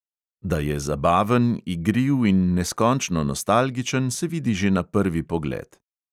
Da je zabaven, igriv in neskončno nostalgičen, se vidi že na prvi pogled.